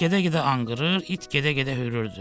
Ulaq gedə-gedə anqırır, it gedə-gedə hürürdü.